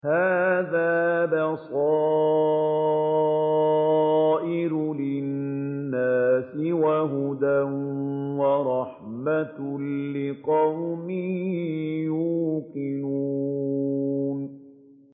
هَٰذَا بَصَائِرُ لِلنَّاسِ وَهُدًى وَرَحْمَةٌ لِّقَوْمٍ يُوقِنُونَ